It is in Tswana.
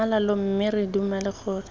tlhamalalo mme re dumela gore